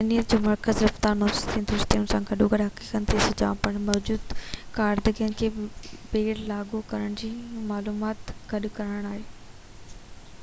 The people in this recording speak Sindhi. ذهنيت جو مرڪز رفتار منطق ۽ درستي ان سان گڏوگڏ حقيقتن جي سڃاڻپ موجوده ڪاريگرين کي ٻيهر لاڳو ڪرڻ ۽ معلومات گڏ ڪرڻ آهي